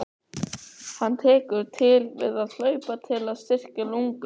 Hann tekur til við að hlaupa til að styrkja lungun.